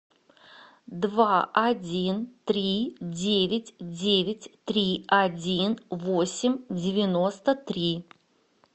два один три девять девять три один восемь девяносто три